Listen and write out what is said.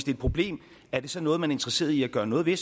et problem er det så noget man er interesseret i at gøre noget ved